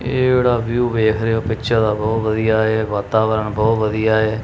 ਇਹ ਜਿਹੜਾ ਵਿਊ ਵੇਖ ਰਹੇ ਹੋ ਪਿੱਚਰ ਦਾ ਬਹੁਤ ਵਧੀਆ ਏ ਇਹ ਵਾਤਾਵਰਨ ਬਹੁਤ ਵਧੀਆ ਏ।